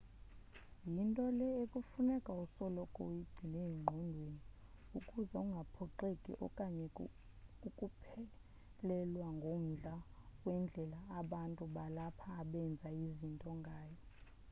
yinto le ekufuneka usoloko uyigcine engqondweni ukuze ungaphoxeki okanye ukuphelelwa ngumdla wendlela abantu balapha abenza izinto ngayo